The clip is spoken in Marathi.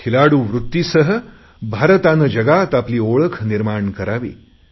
खेळाडू वृत्तीसह भारताने जगात आपली ओळख निर्माण करावी